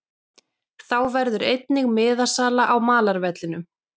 Þá verður einnig miðasala á malarvellinum.